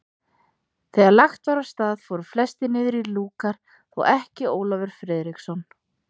Þegar lagt var af stað fóru flestir niður í lúkar, þó ekki Ólafur Friðriksson.